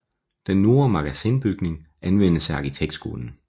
Den Nordre Magasinbygning anvendes af arkitektskolen